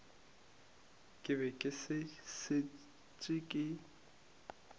ke be ke šetše ke